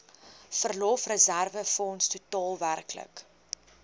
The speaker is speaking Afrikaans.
verlofreserwefonds totaal werklik